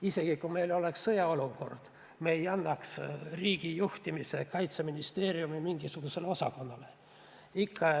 Isegi kui meil oleks sõjaolukord, ei annaks me riigijuhtimist üle mingisugusele Kaitseministeeriumi osakonnale.